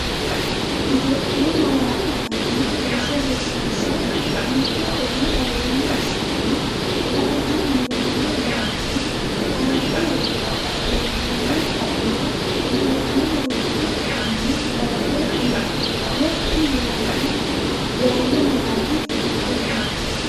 Itophiyu Malaatu Afii Roso Rosiishsha Mite Konni aleenni assitini la”ate niwaawe garinni aante xa’mantino xa’mora Itiyophiyu malaatu afiinni dawaro uuyye, gotti yaanno malaati hiikkonneeti?